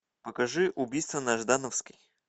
покажи убийство на ждановской